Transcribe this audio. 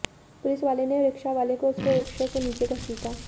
police वाले ने रिक्शावाले को उसके रिक्शे से नीचे घसीटा